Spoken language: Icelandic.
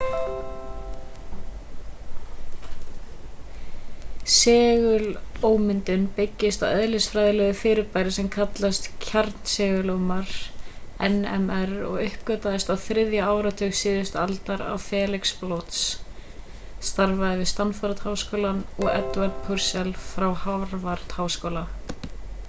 segulómyndun byggist á eðlisfræðilegu fyrirbæri sem kallast kjarnsegulómur nmr og uppgötvaðist á þriðja áratug síðustu aldar af felix bloch starfaði við stanford-háskóla og edward purcell frá harvard-háskóla